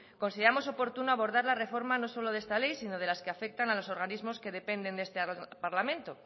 consideramos oportuno abordar la reforma no solo de esta ley sino de las que afectan a los organismos que dependen de este parlamento